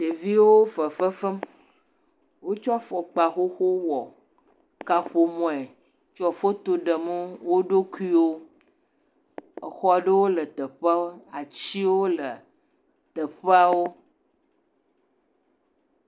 Ɖeviwo fefe fem, wotsɔ afɔkp xoxowo wɔ kaƒomɔe le foto ɖem wo ɖokuiwo, exɔ aɖewo le teƒea atiwo le teƒeawo.